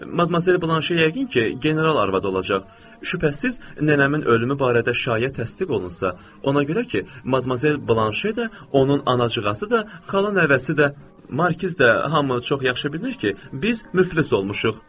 Madmazel Blanş yəqin ki, general arvadı olacaq, şübhəsiz nənəmin ölümü barədə şayiə təsdiq olunsa, ona görə ki, madmazel Blanşe də, onun anacıqası da, xala nəvəsi də, markiz də hamı çox yaxşı bilir ki, biz müflis olmuşuq.